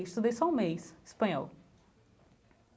Estudei só um mês, espanhol.